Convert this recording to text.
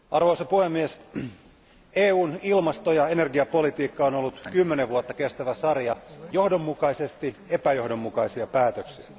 Arvoisa puhemies, EUn ilmasto ja energiapolitiikka on ollut 10 vuotta kestävä sarja johdonmukaisesti epäjohdonmukaisia päätöksiä.